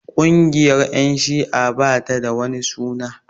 Ƙungiyar ƴan shi'a ba ta da wani suna